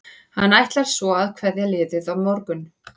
Hann ætlar svo að kveðja liðið á morgun.